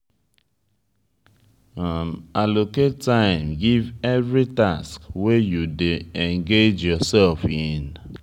allocate time give every task wey you dey engage yourself in